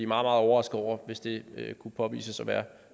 meget overrasket over hvis det kunne påvises at være